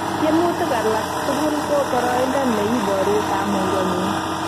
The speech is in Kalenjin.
Tiemutik alak tugul ko boroindo ne iporu kamukengung